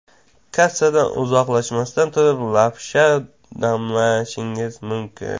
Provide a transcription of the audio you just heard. Kassadan uzoqlashmasdan turib, lapsha damlashingiz mumkin.